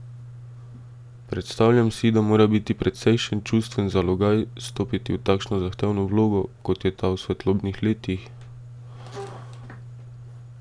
Predstavljam si, da mora biti precejšen čustven zalogaj stopiti v takšno zahtevno vlogo, kot je ta v Svetlobnih letih?